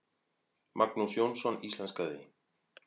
Magnús Jónsson íslenskaði.